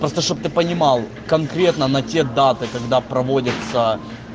просто чтобы ты понимал конкретно на те даты когда проводятся